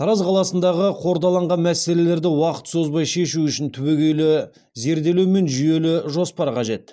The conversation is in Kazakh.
тараз қаласындағы қордаланған мәселелерді уақыт созбай шешу үшін түбегейлі зерделеу мен жүйелі жоспар қажет